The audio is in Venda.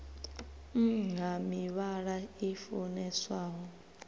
nn ha mivhala i funeswaho